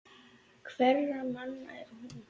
Hverra manna er hún?